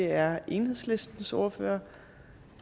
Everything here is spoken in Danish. er enhedslistens ordfører